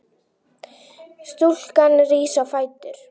Stúlkan rís á fætur.